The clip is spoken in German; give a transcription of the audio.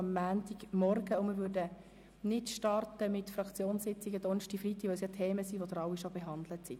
Wir würden am Donnerstag und Freitag nicht mit Fraktionssitzungen starten, da es um Themen geht, die schon behandelt wurden.